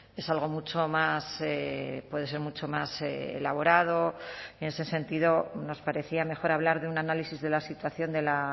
es algo mucho más puede ser mucho más elaborado en ese sentido nos parecía mejor hablar de un análisis de la situación de la